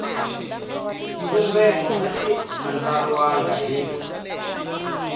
xivumbeko a xi andlariwangi hi